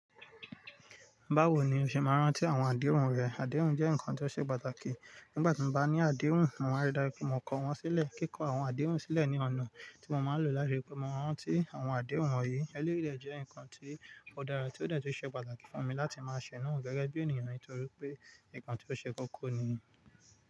Báwo ni o ṣe máa rán tí àwọn àdéhùn rẹ? Àdéhùn jẹ́ nǹkan tó ṣe pàtàkì. Nígbà tí mo bá ní àdéhùn, mo máa rí dáju pẹ mo kọ wọ́n sílẹ̀. Kíkọ́ àwọn àdéhùn sílẹ̀ ni ọ̀nà tí mo máa ń lò láti rí pé mo rántí àwọn àdéhùn wọ̀nyí. Eléyi de je nǹkan tí ó dára tí ó dà tí ó ṣe pàtàkì fún mi láti máa ṣẹ̀ náà gẹ́gẹ́ bí ènìyàn nítorí pé nǹkan tí ó ṣe kókó nì.